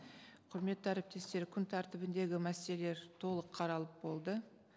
құрметті әріптестер күн тәртібіндегі мәселелер толық қаралып болды